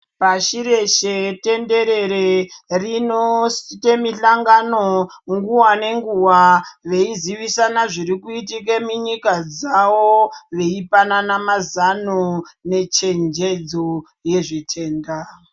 Pashi reshe tenderere rinoita mishangano nguwa ngenguwa veizivisana zviri kuitika munyika dzawo veipanana mazano nechenjedzo yezvitenda.